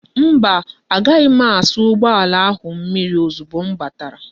Mba, agaghi m asa ugboala ahu mmiri ozugbo m batara